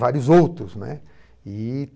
Vários outros, né. E